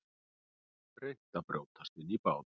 Reynt að brjótast inn í bát